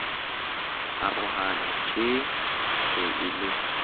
arohana tjeee se e le